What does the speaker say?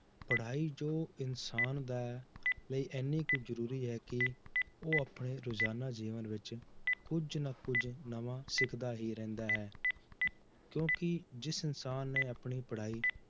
ਪੜ੍ਹਾਈ ਜੋ ਇਨਸਾਨ ਦਾ ਲਈ ਇੰਨੀ ਕੁ ਜ਼ਰੂਰੀ ਹੈ ਕਿ ਉਹ ਆਪਣੇ ਰੁਜ਼ਾਨਾ ਜੀਵਨ ਵਿੱਚ ਕੁੱਝ ਨਾ ਕੁੱਝ ਨਵਾਂ ਸਿੱਖਦਾ ਹੀ ਰਹਿੰਦਾ ਹੈ ਕਿਉਂਕਿ ਜਿਸ ਇਨਸਾਨ ਨੇ ਆਪਣੀ ਪੜ੍ਹਾਈ